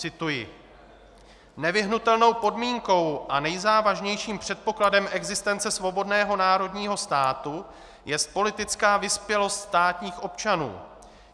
Cituji: Nevyhnutelnou podmínkou a nejzávažnějším předpokladem existence svobodného národního státu jest politická vyspělost státních občanů.